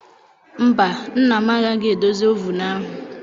Mba, nna m agaghị edozi ovunu ahụ.